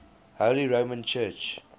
holy roman church